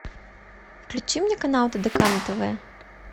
включи мне канал тдк на тв